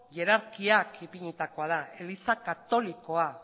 hierarkiak ipinia da eliza katolikoa